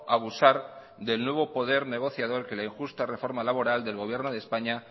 abusar del nuevo poder negociador que la injusta reforma laboral del gobierno de españa